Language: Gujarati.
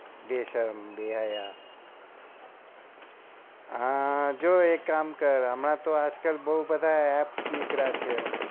બેશરમ બેહયાત જો હા એક કામ કર હમણાતો આમતો બૌ બધા apps નીકળ્યા છે